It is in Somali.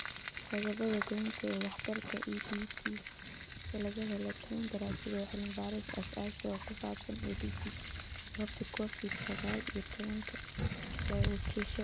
Qodobbada goynta ee waxtarka EdTech sida laga helay toban daraasadood oo cilmi-baaris aasaasi ah oo ku saabsan EdTech iyo jawaabta Covid sagaal iyo tobbaan ee la wakiishay.